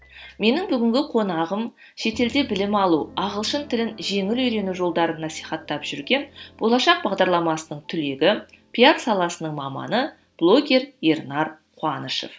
менің бүгінгі қонағым шетелде білім алу ағылшын тілін жеңіл үйрену жолдарын насихаттап жүрген болашақ бағдарламасының түлегі пиар саласының маманы блогер ернар қуанышев